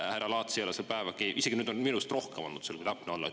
Härra Laats ei ole seal päevagi, isegi nüüd on minust rohkem olnud seal, kui täpne olla.